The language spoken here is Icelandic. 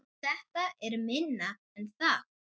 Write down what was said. Þetta er minna en það